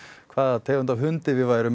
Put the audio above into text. hvaða tegund af hundi við værum